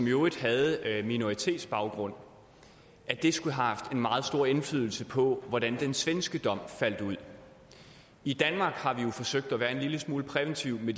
øvrigt havde minoritetsbaggrund og at det skulle have haft en meget stor indflydelse på hvordan den svenske dom faldt ud i danmark har vi jo forsøgt at være en lille smule præventive i